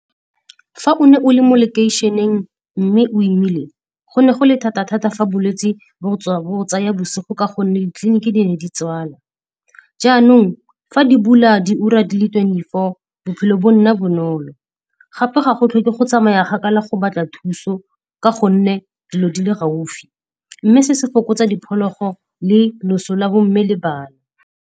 Fa o ne o le mo lekeišeneng mme o imile, go ne go le thata-thata fa bolwetse bo go tsaya bosigo ka gonne ditleliniki di ne di tswalwa. Jaanong fa di bula di ura di le twenty-four bophelo bo nna bonolo. Gape ga go tlhoke go tsamaya gakala go batla thuso ka gonne dilo di le gaufi. Mme se se fokotsa diphologo le loso la bo mme le bana.